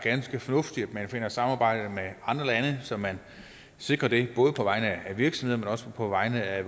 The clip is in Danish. ganske fornuftigt at man kan samarbejde med andre lande så man sikrer det både på vegne af virksomhederne men også på vegne af